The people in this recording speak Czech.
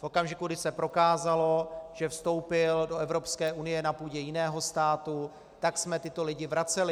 V okamžiku, kdy se prokázalo, že vstoupili do Evropské unie na půdě jiného státu, tak jsme tyto lidi vraceli.